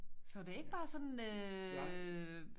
Så det ikke bare sådan øh